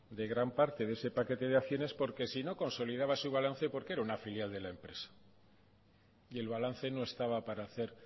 de gran parte de ese paquete de acciones porque sino consolidaba su balance porque era una filial de la empresa y el balance no estaba para hacer